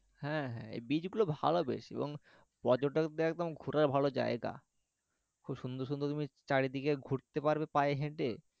হ্যাঁ হ্যাঁ এই beach গুলো ভালো বেশ এবং পর্যটকদের একদম ঘুরার ভালো জায়গা খুব সুন্দর সুন্দর তুমি চারিদিকে ঘুরতে পারবে পায়ে হেঁটে,